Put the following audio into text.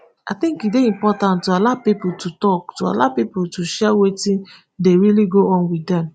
i tink e dey important to allow pipo to tok to allow pipo share wetin dey really go on wit dem